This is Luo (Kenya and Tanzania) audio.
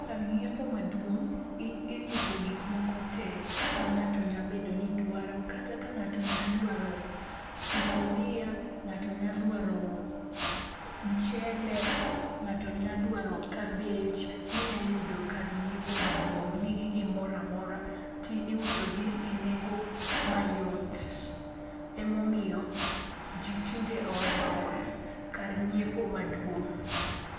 Kar ng'iepo maduong' iuso gik moko te mang'ato nya bedo ni dwaro kata ka ng'ato nya dwaro sufuria, ng'ato nya dwaro mchele, ng'ato nya dwaro cabbage, inyayudo kar nyiepo maduong', nigi gimoro amora ti iusogi e nengo mayot. Emomiyo ji tinde ohero kar nyiepo maduong'